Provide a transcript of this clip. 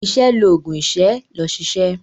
Iṣẹ́ l'oògùn ìṣẹ́. lọ ṣiṣẹ́!